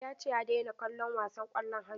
Ya ce ya daina kallon wasan ƙwallon hannu.